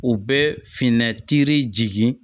U bɛ finnatiri jigin